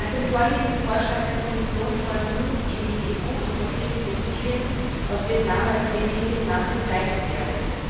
Nach dem vorliegenden Vorschlag der Kommission sollen nun die in die EU importierten Textilien aus Vietnam als made in Vietnam bezeichnet werden.